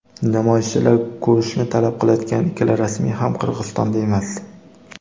namoyishchilar ko‘rishni talab qilayotgan ikkala rasmiy ham Qirg‘izistonda emas.